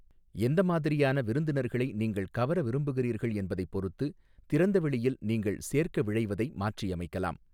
எந்த மாதிரியான விருந்தினர்களை நீங்கள் கவர விரும்புகிறீர்கள் என்பதைப் பொறுத்து திறந்தவெளியில் நீங்கள் சேர்க்க விழைவதை மாற்றியமைக்கலாம்.